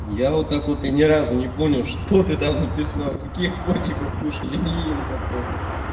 я вот так вот и ни разу не понял что ты там написал каких котиков кушай я не ем котов